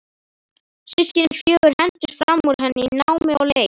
Systkinin fjögur hentust fram úr henni í námi og leik.